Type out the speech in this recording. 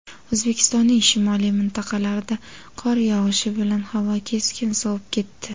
O‘zbekistonning shimoliy mintaqalarida qor yog‘ishi bilan havo keskin sovib ketdi.